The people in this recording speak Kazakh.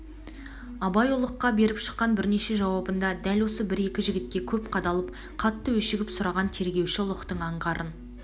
абай ұлыққа беріп шыққан бірнеше жауабында дәл осы бір-екі жігітке көп қадалып қатты өшігіп сұраған тергеуші ұлықтың аңғарын